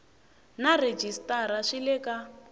na rhejisitara swi le ka